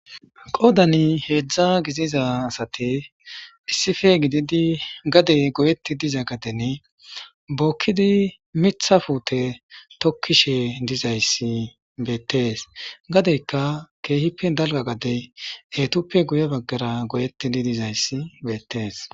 Qodani heedzdza giziza asate issife gididi gadey goyetti diza gadene bookkidi mitha fuute tokkishe dizayssi beettees gadeyka keehippe dalga gade eetuppe guye baggara goyetti di dizayssi beettees.